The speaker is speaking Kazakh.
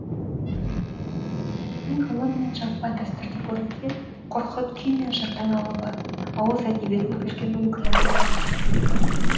фараби ғылым мен жазба дәстүрде көрінсе қорқыт күй мен жырдың алыбы ауыз әдебиетінің үлкен өкілі болған